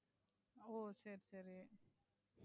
ஓ, சரி, சரி.